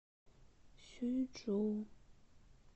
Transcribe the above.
сюйчжоу